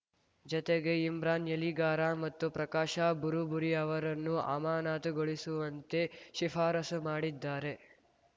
ಜತೆಗೆ ಇಮ್ರಾನ್‌ ಯಲಿಗಾರ ಮತ್ತು ಪ್ರಕಾಶ ಬುರುಬುರಿ ಅವರನ್ನು ಅಮಾನತುಗೊಳಿಸುವಂತೆ ಶಿಫಾರಸು ಮಾಡಿದ್ದಾರೆ